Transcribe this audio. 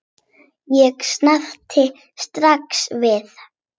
Ég sneri strax við.